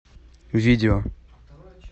видео